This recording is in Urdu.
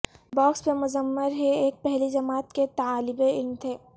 باکس میں مضمر ہے ایک پہلی جماعت کے طالب علم تھے